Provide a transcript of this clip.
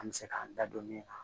An bɛ se k'an da don min na